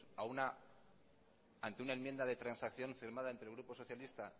ante una enmienda de transacción firmada entre el grupo socialista